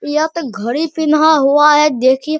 यहाँ पर घड़ी पिन्हा हुआ है देखिए --